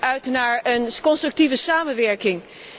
ik kijk uit naar een constructieve samenwerking.